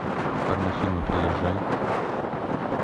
порнофильмы приезжай